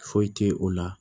Foyi te o la